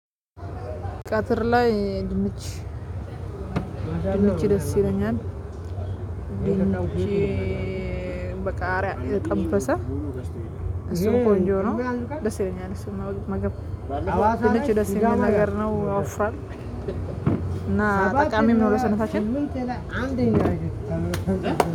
ቀትር ላይ ድንች ድንች ደስ ይለኛል። ድንች በቃርያ የተጠበሰ እሱም ቆንጆ ነው። ደስ ይለኛል እሱን መመገብ። ድንች ደስ የሚል ነገር ነው ያወፍራል። እና ጠቃሚም ነው ለሰውነታችን።